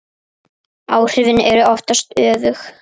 Áhrifin eru oftast öfug.